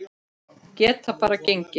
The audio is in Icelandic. Geta bara gengið.